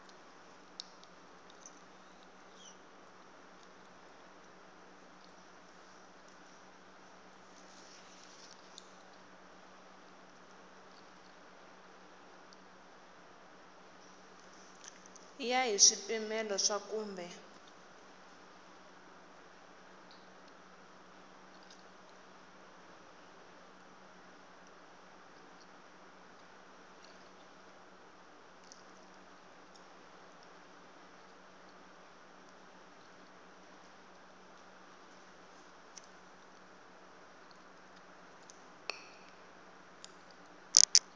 ya hi swipimelo swa kumbe